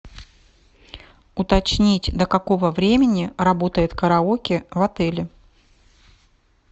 уточнить до какого времени работает караоке в отеле